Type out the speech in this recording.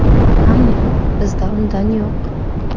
Ammo bizda undan yo‘q.